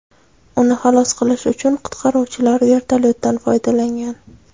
Uni xalos qilish uchun qutqaruvchilar vertolyotdan foydalangan.